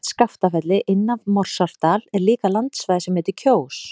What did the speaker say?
Nálægt Skaftafelli, inn af Morsárdal er líka landsvæði sem heitir Kjós.